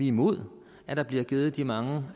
imod at der bliver givet de mange